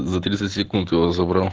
за тридцать секунд его забрал